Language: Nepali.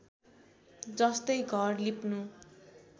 जस्तै घर लिप्नु